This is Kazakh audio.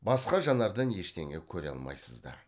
басқа жанардан ештеңе көре алмайсыз да